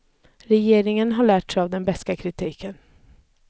Regeringen har lärt sig av den beska kritiken.